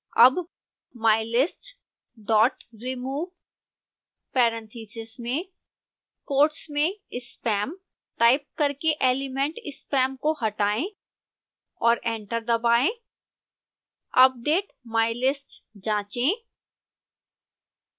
अब mylist dot remove parentheses में quotes में spam टाइप करके एलिमेंट spam को हटाएं और एंटर दबाएं अपडेट mylist जाँचें